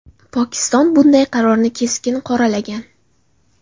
Pokiston bunday qarorni keskin qoralagan.